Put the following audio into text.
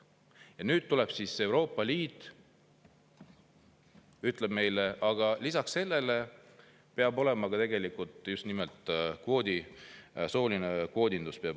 Ja nüüd tuleb siis Euroopa Liit ja ütleb meile, et lisaks sellele peab rakendama soolist kvoodindust.